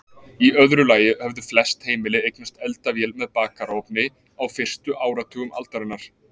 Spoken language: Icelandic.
Í öðru lagi höfðu flest heimili eignast eldavél með bakarofni á fyrstu áratugum aldarinnar.